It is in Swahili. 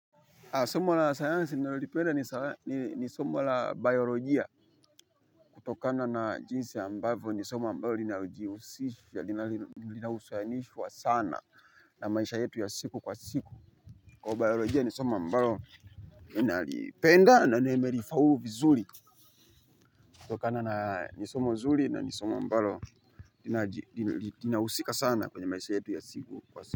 Somo la sayansi ninalolipenda ni somo la biolojia kutokana na jinsi ambavyo ni somo ambayo ni somo ambayo inalijiusishwa sana na maisha yetu ya siku kwa siku. Kwa biologia ni somo ambalo ni nalipenda na ni merifaulu vizuri kutokana na nisomo zuri na nisomo ambalo ninausika sana kwenye maisha yetu ya siku kwa siku.